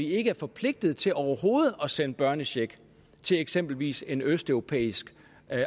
ikke er forpligtet til overhovedet at sende børnecheck til eksempelvis en østeuropæisk